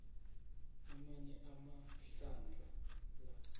amanye amahlandla la